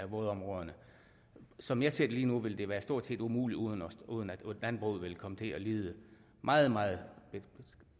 vådområderne som jeg ser det lige nu vil det være stort set umuligt uden uden at landbruget vil komme til at lide meget meget